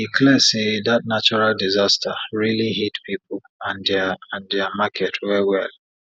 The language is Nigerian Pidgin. e clear say dat natural disaster rili hit pipu and dia and dia market wel wel